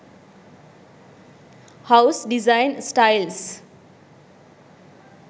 house design styles